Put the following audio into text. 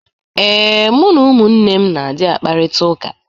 Ee, mụ na ụmụnne m na-adị akparịtaụka.